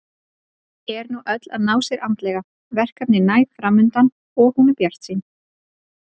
Er nú öll að ná sér andlega, verkefni næg framundan og hún bjartsýn.